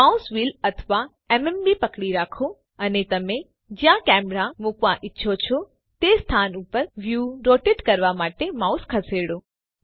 mouse wheel અથવા MMB પકડી રાખો અને તમે જ્યાં કેમેરા મૂકવા ઈચ્છો છો તે સ્થાન ઉપર વ્યુ રોટેટ કરવા માટે માઉસ ખસેડો